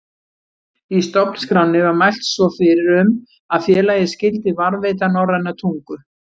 Í stofnskránni var mælt svo fyrir um að félagið skyldi varðveita norræna tungu.